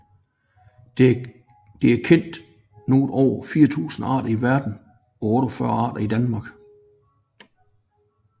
Det er kendt noget over 4 000 arter i verden og 48 arter i Danmark